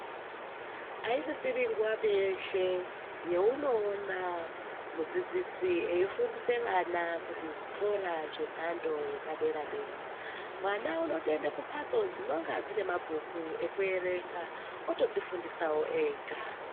Aisisiri nguwapi yeshe yeunoona mudzidzisi efundisa vana kuzvikora zvemhando yepadera dera mwana unotoenda kumbatso dzinenga dzine mabhuku ekuerenga otodzifundisa ega .